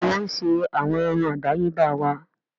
Bẹ́ẹ̀ni wọ́n ń ṣe àwọn irun àdáyébá wa